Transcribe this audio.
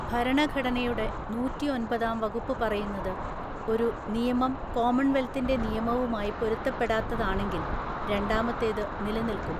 ഭരണഘടനയുടെ നൂറ്റിഒന്‍പതാം വകുപ്പ് പറയുന്നത്, ഒരു നിയമം കോമൺവെൽത്തിൻ്റെ നിയമവുമായി പൊരുത്തപ്പെടാത്തതാണെങ്കിൽ, രണ്ടാമത്തേത് നിലനിൽക്കും.